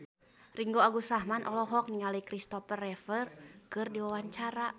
Ringgo Agus Rahman olohok ningali Kristopher Reeve keur diwawancara